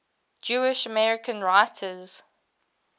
jewish american writers